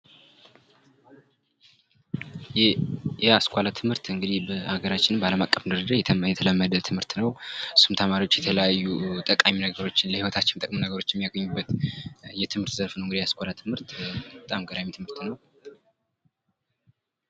የአስኳላ ትምህርት እንግዲህ ሀገራችን በዓለም አቀፍ ደረጃ የተለመደ ትምህርት ነው። እሱም ተማሪዎች የተለያዩ ጠቃሚ ነገሮችን ለሕይወታችን ጠቃሚ ነገሮች የሚያገኙበት የትምህርት ዘርፍ ነው እንግዲህ የአስኳላ ትምህርት በጣም ገራሚ ትምህርት ነው።